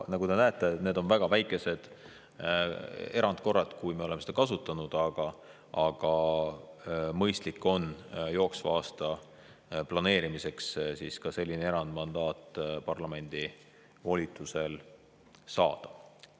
Nagu te näete, need on väga vähesed erandkorrad, kui me oleme seda kasutanud, aga mõistlik on jooksva aasta planeerimiseks ka selline erandmandaat parlamendi volitusel saada.